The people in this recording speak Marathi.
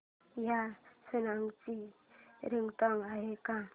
या सॉन्ग ची रिंगटोन आहे का